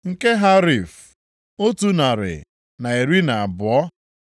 nke Harif, otu narị na iri na abụọ (112),